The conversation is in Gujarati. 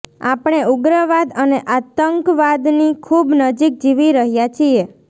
આપણે ઉગ્રવાદ અને આતંકવાદની ખૂબ નજીક જીવી રહ્યા છીએ